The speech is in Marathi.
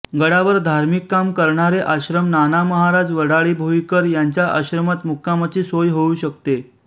गडावर धार्मिक काम करणारे आश्रम नानामहाराज वडाळीभोईकर यांच्या आश्रमात मुक्कामाची सोय होऊ शकते